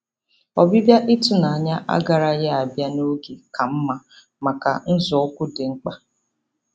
Ọbịbịa ịtụnanya agaraghị abịa n'oge ka mma maka nzọụkwụ dị mkpa